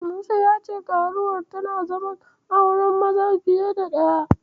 Musa ya ce karuwar tana zaman auren maza fiye da ɗaya.